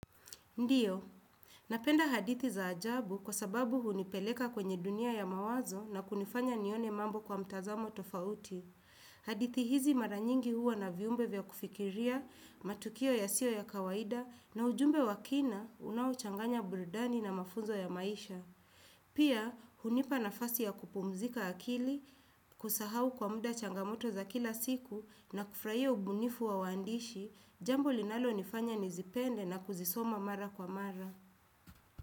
Ndiyo, napenda hadithi za ajabu kwa sababu hunipeleka kwenye dunia ya mawazo na kunifanya nione mambo kwa mtazamo tofauti. Hadithi hizi mara nyingi huwa na viumbe vya kufikiria, matukio yasiyoyakawaida na ujumbe wa kina unaochanganya buridani na mafunzo ya maisha. Pia, hunipa nafasi ya kupumzika akili, kusahau kwa muda changamoto za kila siku na kufurahia ubunifu wa waandishi, jambo linalonifanya nizipende na kuzisoma mara kwa mara.